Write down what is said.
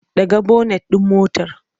Ɗaga bonet ɗin motar!